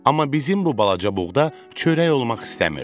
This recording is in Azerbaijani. Amma bizim bu balaca buğda çörək olmaq istəmirdi.